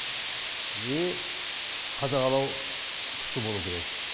и қадағалау күшті болу керек